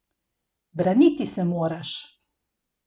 Braniti se moraš!